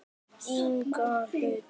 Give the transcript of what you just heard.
Sammála því?